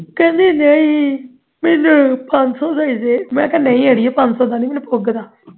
ਕਹਿੰਦੀ ਨਹੀ ਮੈਨੂੰ ਪੰਜ ਸੌ ਦਾ ਹੀ ਦੇ ਮੈਂ ਕਿਹਾ ਨਹੀਂ ਅੜੀਏ ਪੰਜ ਸੌ ਦਾ ਨਹੀਂ ਪੁੱਗਦਾ